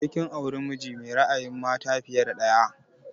Sai kin auri miji mai ra'ayin mata fiye da ɗaya!